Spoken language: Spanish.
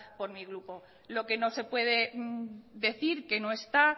por mi grupo lo que no se puede decir que no está